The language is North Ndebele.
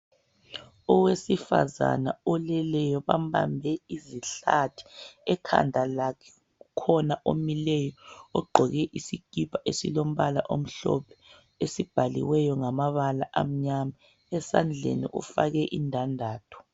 Owesifazana oleleyo bambambe izihlathi ekhanda lakhe kukhona omileyo ogqoke isikipa esilombala omhlophe esibhaliweyo ngamabala amnyama esandleni ufake indandatho.